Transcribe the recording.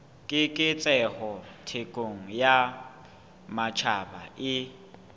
keketseho thekong ya matjhaba e